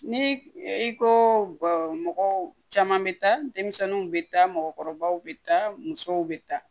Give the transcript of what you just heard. Ni i komɔgɔw caman be taa denmisɛnninw be taa mɔgɔkɔrɔbaw be taa musow be taa